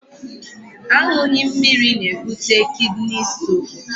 Aṅụghị mmiri na-ebute kidney stone.